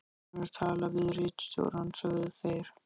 Búnir að tala við ritstjórann, sögðu þeir.